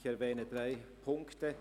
Ich erwähne drei Punkte: